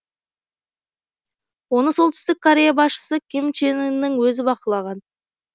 оны солтүстік корея басшысы ким чен ынның өзі бақылаған